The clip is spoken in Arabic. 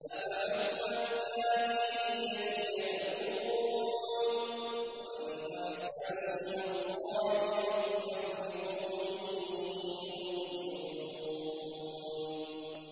أَفَحُكْمَ الْجَاهِلِيَّةِ يَبْغُونَ ۚ وَمَنْ أَحْسَنُ مِنَ اللَّهِ حُكْمًا لِّقَوْمٍ يُوقِنُونَ